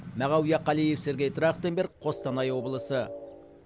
мағауия қалиев сергей трахтенберг қостанай облысы